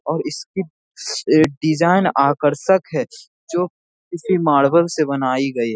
और इसकी डिजाइन आकर्षक है जो किसी मार्बल से बनाई गई है।